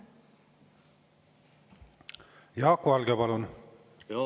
Jaak Valge, palun!